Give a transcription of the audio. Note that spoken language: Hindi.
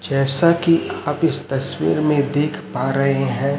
जैसा कि आप इस तस्वीर में देख पा रहे हैं।